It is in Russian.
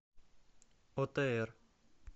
отр